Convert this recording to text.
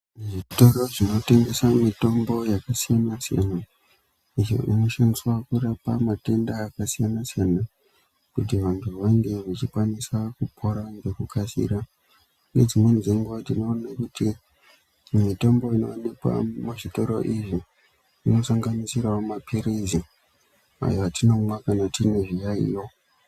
Zvitoro zvinotengesa mitombo yakasiyana-siyana iyo inoshandiswa kurapa matenda akasiyana-siyana kuti vantu vange vachikwanisa kupora ngekukasira ngedzimweni dzenguwa tinoona kuti mitombo inoonekwa mumazvitoro izvi inosanganisirawo mapirizi, ayo atinomwa kana tine zviyaeyo.